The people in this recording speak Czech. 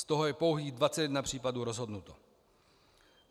Z toho je pouhých 21 případů rozhodnuto.